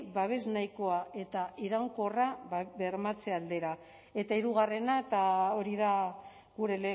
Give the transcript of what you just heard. babes nahikoa eta iraunkorra bermatze aldera eta hirugarrena eta hori da gure